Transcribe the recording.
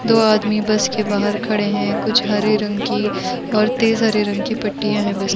दो आदमी बस के बाहर खड़े हैं कुछ हरे रंग की और तेज़ हरे रंग की पट्टीयां हैं बस --